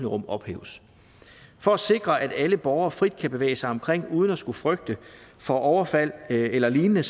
rum ophæves for at sikre at alle borgere frit kan bevæge sig omkring uden at skulle frygte for overfald eller lignende